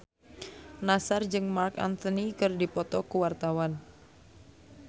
Nassar jeung Marc Anthony keur dipoto ku wartawan